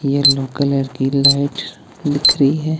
Yellow colour की लाइट्स दिख रही है।